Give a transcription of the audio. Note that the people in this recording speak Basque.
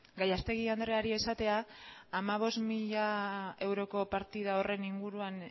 gallastegui andreari esatea hamabost mila euroko partida horren inguruan